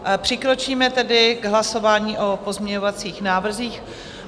Přikročíme tedy k hlasování o pozměňovacích návrzích.